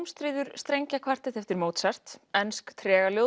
ómstríður strengjakvartett eftir Mozart ensk